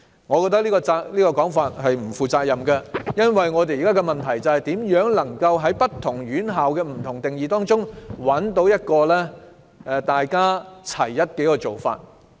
我認為這種說法是不負責任的，因為問題是如何在不同院校作出的不同定義中，找出一個劃一的做法。